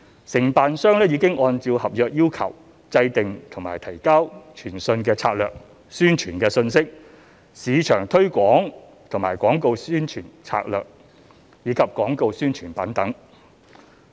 承辦商已按照合約要求制訂和提交傳訊策略、宣傳信息、市場推廣和廣告宣傳策略，以及廣告宣傳品等。